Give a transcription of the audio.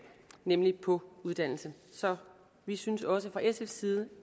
nemlig på uddannelse så vi synes også fra sfs side